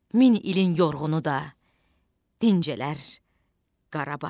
Min ilin yorğunu da dincələr Qarabağda.